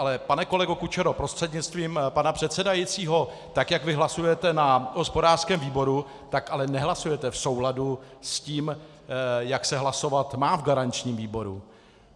Ale pane kolego Kučero, prostřednictvím pana předsedajícího, tak jak vy hlasujete na hospodářském výboru, tak ale nehlasujete v souladu s tím, jak se hlasovat má v garančním výboru.